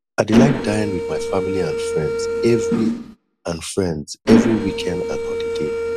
i dey like dine with my family and friends every and friends every weekend and holiday